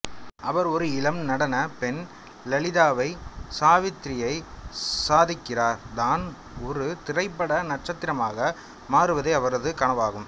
அவர் ஒரு இளம் நடன பெண் லலிதாவைச் சாவித்ரியை சந்திக்கிறார் தான் ஒரு திரைப்பட நட்சத்திரமாக மாறுவதே அவரது கனவாகும்